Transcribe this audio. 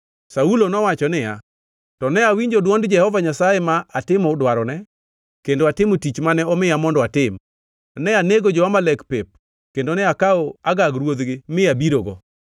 Saulo nowacho niya, “To ne awinjo dwond Jehova Nyasaye ma atimo dwarone kendo atimo tich mane omiya mondo atim. Ne anego jo-Amalek pep kendo ne akawo Agag ruodhgi mi abirogo.